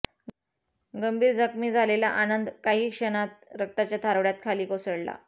गंभीर जखमी झालेला आनंद काही क्षणात रक्ताच्या थारोळय़ात खाली कोसळला